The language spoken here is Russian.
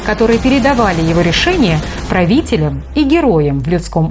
которые передавали его решение правителям и героям в людском